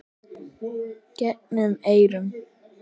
gegnum eyrun.